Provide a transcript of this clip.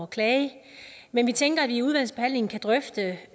klage men vi tænker at vi i udvalgsbehandlingen kan drøfte det